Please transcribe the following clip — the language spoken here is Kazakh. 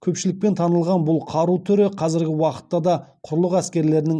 көпшілікпен танылған бұл қару түрі қазіргі уақытта да құрлық әскерлерінің